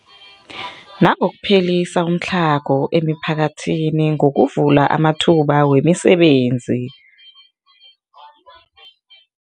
Nangokuphelisa umtlhago emiphakathini ngokuvula amathuba wemisebenzi.